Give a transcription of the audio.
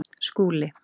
Skúli